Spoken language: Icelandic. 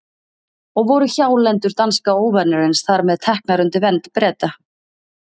Og voru hjálendur danska óvinarins þar með teknar undir vernd Breta.